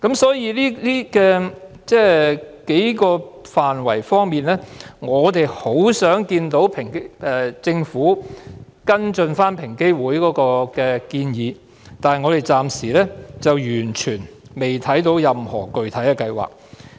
所以，我們希望政府會跟進平機會就上述數個範疇提出的建議，但我們暫時完全未看到政府有任何具體計劃。